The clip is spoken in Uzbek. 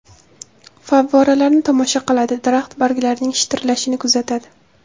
Favvoralarni tomosha qiladi, daraxt barglarining shitirlashini kuzatadi.